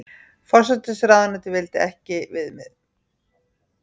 Forsætisráðuneytið vildi ekki viðmið